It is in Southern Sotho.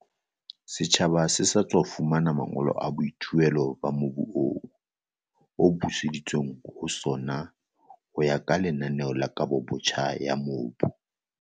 Setjhaba se sa tswa fumana mangolo a boithuelo ba mobu oo, o buseditsweng ho sona ho ya ka lenaneo la kabobotjha ya mobu.